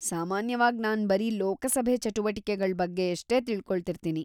ಸಾಮಾನ್ಯವಾಗ್‌ ನಾನ್‌ ಬರೀ ಲೋಕಸಭೆ ಚಟುವಟಿಕೆಗಳ್ ಬಗ್ಗೆಯಷ್ಟೇ ತಿಳ್ಕೊಳ್ತಿರ್ತೀನಿ.